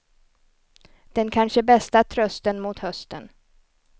Den kanske bästa trösten mot hösten.